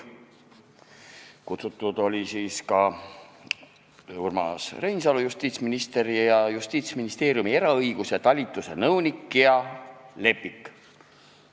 Kutsutud olid justiitsminister Urmas Reinsalu ja Justiitsministeeriumi õiguspoliitika osakonna eraõiguse talituse nõunik Gea Lepik.